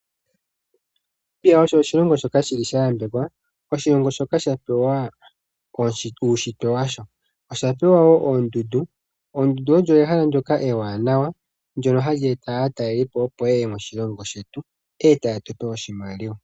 Namibia osho oshilongo shoka sha yambekwa. Oshilongo shoka shapewa uushitwe washo, osha pewa woo oondundu. Oondundu odho ehala ndyoka ewanawa ndyono hali eta aatalelipo, opo yeye moshilongo shetu eta yetupe oshimaliwa.